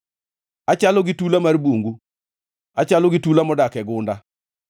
Achalo gi tula mar bungu, achalo gi tula modak e gunda.